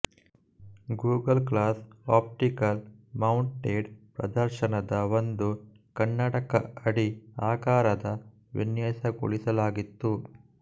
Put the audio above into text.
Google glass optical mounted ಪ್ರದರ್ಶನದ ಒಂದು ಕನ್ನಡಕ ಅಡಿ ಆಕಾರದ ವಿನ್ಯಾಸಗೊಳಿಸಲಾಗಿತ್ತು